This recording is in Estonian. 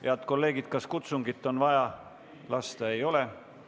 Head kolleegid, kas kutsungit on vaja lasta?